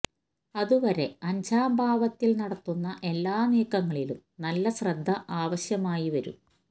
അത് വരെ അഞ്ചാം ഭാവത്തിൽ നടത്തുന്ന എല്ലാ നീക്കങ്ങളിലും നല്ല ശ്രദ്ധ ആവശ്യമായി വരും